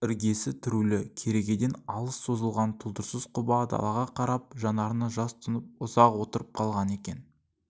іргесі түрулі керегеден алыс созылған тұлдырсыз құба далаға қарап жанарына жас тұнып ұзақ отырып қалған екен